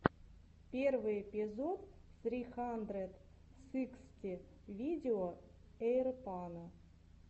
первый эпизод сри хандрэд сыксти видео эйрпано